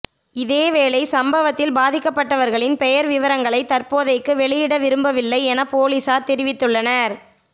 இதேவேளை சம்பவத்தில் பாதிக்கப்பட்டவர்களின் பெயர் விபரங்களை தற்போதைக்கு வெளியிடவிரும்பவில்லை என பொலிஸார் தெரிவித்துள்ளனர்